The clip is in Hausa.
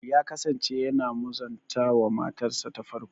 Ya kasance yana muzanta wa matarsa ta farko.